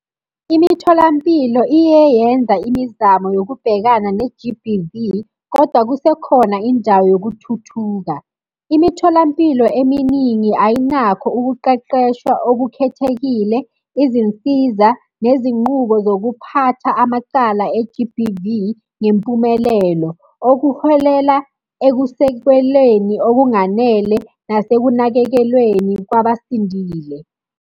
Imitholampilo iye yenza imizamo yokubhekana ne-G_B_V, koda kuse khona indawo yokuthuthuka. Imitholampilo eminingi ayinakho ukuqeqeshwa okukhethekile, izinsiza, nezinqubo zokuphatha amacala e-G_B_V ngempumelelo. Okuholela ekusekweleni okunganele nasekunakekelweni kwabasindile.